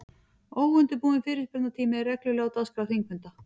Óundirbúinn fyrirspurnatími er reglulega á dagskrá þingfunda.